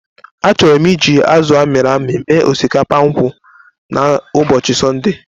Achọrọ m iji azụ amiri-ami mee osikapa nkwụ n'ụbọchị Sọnde.